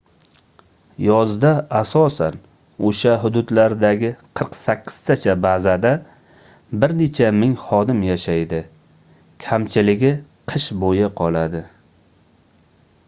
yozda asosan oʻsha hududlardagi qirq sakkiztacha bazada bir necha ming xodim yashaydi kamchiligi qish boʻyi qoladi